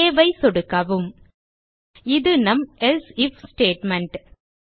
save ஐ சொடுக்கவும் இது நம் else ஐஎஃப் ஸ்டேட்மெண்ட்